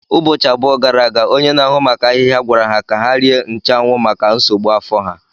Ụbọchị abụọ gara aga, onye na-ahụ maka ahịhịa gwara ha ka ha rie nchuanwu maka nsogbu afọ ha.